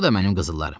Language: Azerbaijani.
Bu da mənim qızıllarım.